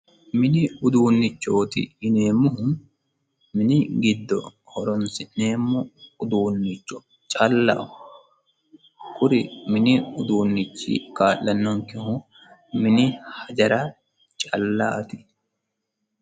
mini uduunnichooti yineemmohu mini giddo horonsi'neemmo uduunnicho callaho kuri mini uduunnichi kaa'lannonkehu mini hajara callaati